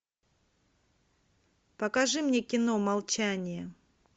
покажи мне кино молчание